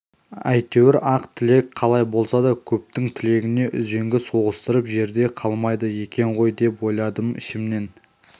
әйтеуір ақ тілек қалай болса да көптің тілегіне үзеңгі соғыстырып жерде қалмайды екен ғой деп ойладым ішімнен